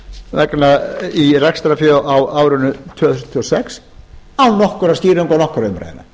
í rekstrarfé á árinu tvö þúsund og sex án nokkurra skýringa og nokkurra umræðna